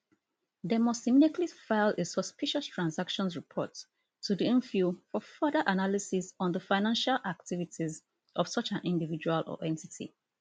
dem must immediately file a suspicious transactions report to di nfiu for further analysis on di financial activities of such an individual or entity